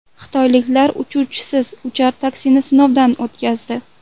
Xitoyliklar uchuvchisiz uchar taksini sinovdan o‘tkazdi .